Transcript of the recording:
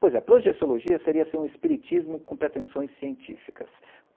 Pois é, projeciologia seria um espiritismo com pretensões científicas.